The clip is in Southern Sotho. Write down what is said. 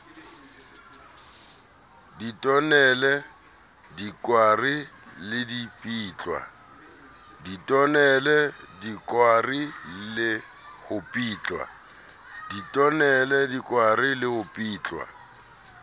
ditonele dikwari le ho ripitlwa